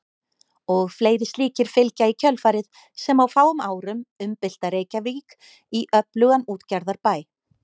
Og fleiri slíkir fylgja í kjölfarið sem á fáum árum umbylta Reykjavík í öflugan útgerðarbæ.